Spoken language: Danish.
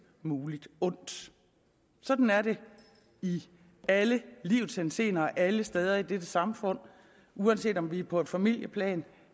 muligt ondt sådan er det i alle livets henseender alle steder i dette samfund uanset om det er på et familieplan